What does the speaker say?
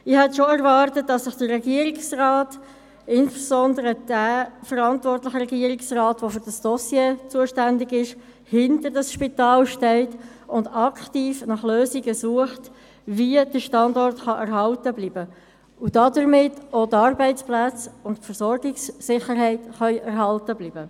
Ich hätte erwartet, dass sich der Regierungsrat, insbesondere der für dieses Dossier verantwortliche Regierungsrat, hinter dieses Spital stellt und aktiv nach Lösungen sucht, dahingehend, wie der Standort erhalten bleiben kann, damit auch die Arbeitsplätze und die Versorgungssicherheit erhalten bleiben.